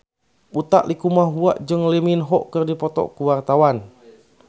Utha Likumahua jeung Lee Min Ho keur dipoto ku wartawan